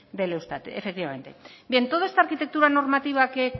del eustat efectivamente bien toda esta arquitectura normativa que